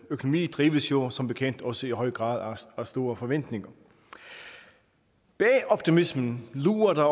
økonomi drives jo som bekendt også i høj grad af store forventninger bag optimismen lurer der